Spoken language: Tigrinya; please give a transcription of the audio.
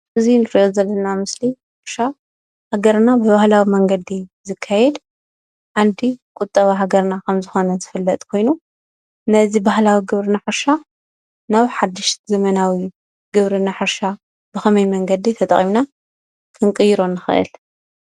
እዚ እንሪኦ ዘለና ምስሊ ሕርሻ ሃገርና ብባህላዊ መንገዲ ዝካየድ ዓንዲ ቁጠባ ሃገርና ከም ዝኾነ ዝፍለጥ ኮይኑ ነዚ ባህላዊ ግብርና ሕርሻ ናብ ሓዱሽ ዘመናዊ ግብርና ሕርሻ ብኸመይ መንገዲ ተጠቒምና ክንቅይሮ ንኽእል?